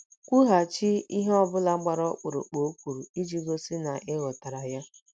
Kwughachi ihe ọ bụla gbara ọkpụrụkpụ o kwuru iji gosi ya na ị ghọtara ya.